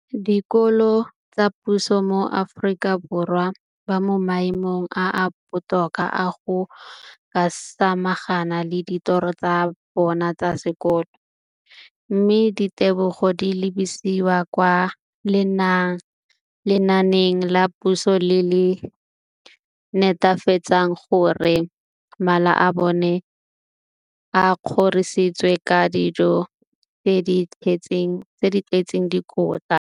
dikolo tsa puso mo Aforika Borwa ba mo maemong a a botoka a go ka samagana le ditiro tsa bona tsa sekolo, mme ditebogo di lebisiwa kwa lenaaneng la puso le le netefatsang gore mala a bona a kgorisitswe ka dijo tse di tletseng dikotla.